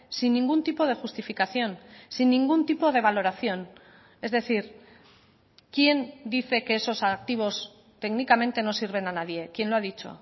sin ningún tipo de justificación sin ningún tipo de valoración es decir quién dice que esos activos técnicamente no sirven a nadie quién lo ha dicho